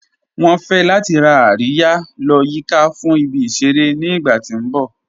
Wọn fẹ̀ lati rá àríyà lọ́ yìká fún ìbí-iṣẹ̀rẹ̀ ní ìgbà ti n bọ̀.